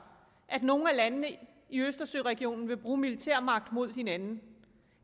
at nogen af landene i østersøregionen der vil bruge militær magt mod hinanden